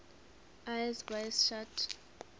eyes wide shut